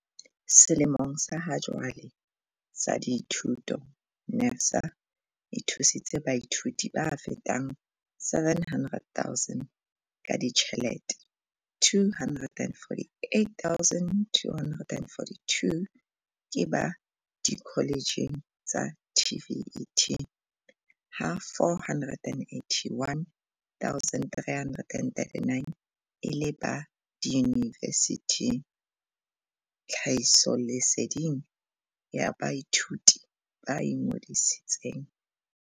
"Selemong sa hajwale sa dithuto, NSFAS e thusitse baithuti ba fetang 700 000 ka ditjhelete, 248 242 ke ba dikoletjheng tsa TVET ha 481 339 e le ba diyuni vesithing, tlhahisoleseding ya baithuti ba ingodisi tseng."